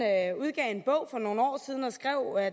udgav en bog for nogle år siden og skrev at